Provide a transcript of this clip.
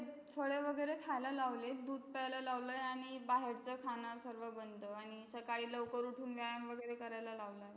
फळे वैगेरे खायला लावले, दूध प्यायला लावलं, आणि बाहेरचं खाणं सर्व बंद, आणि सकाळी लवकर उठून व्यायाम वगैरे करायला लावलाय.